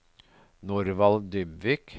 Norvald Dybvik